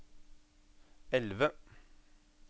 elve